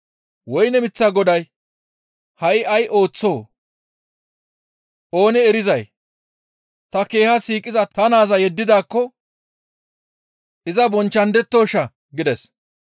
«Woyne miththaa goday, ‹Ha7i ay ooththoo? Oonee erizay ta keeha siiqiza ta naaza yeddidaakko iza bonchchandettoshaa?› gides.